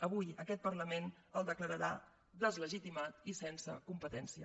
avui aquest parlament el declararà deslegitimat i sense competència